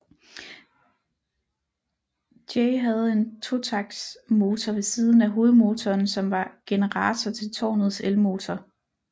J havde en totaktsmotor ved siden af hovedmotoren som var generator til tårnets elmotor